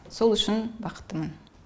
сол үшін бақыттымын